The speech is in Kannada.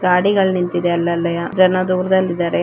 ಗಾಡಿಗಳು ನಿಂತಿದೆ ಅಲಲ್ಲಿ ಜನ ದೂರದಲ್ಲಿ ಇದ್ದಾರೆ.